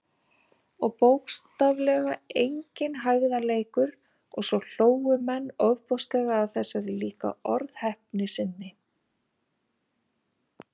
Og bókstaflega enginn hægðarleikur- og svo hlógu menn ofboðslega að þessari líka orðheppni sinni.